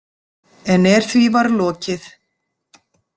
En er því var lokið.